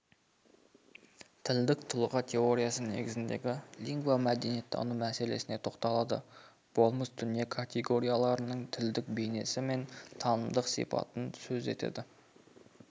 тілдік тұлға теориясы негізіндегі лингвомәдениеттану мәселесіне тоқталады болмыс дүние категорияларының тілдік бейнесі мен танымдық сипатын сөз етеді